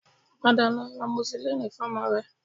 Padà lọ ra amoxicillin fun ọmọ rẹ